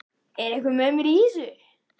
Er einhver með mér í þessu?